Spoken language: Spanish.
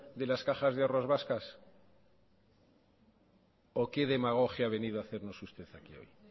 de las cajas de ahorros vascas o que demagogia ha venido a hacernos usted aquí hoy